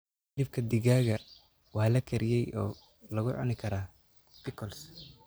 Hilibka digaaga waa la kariyey oo lagu cuni karaa pickles.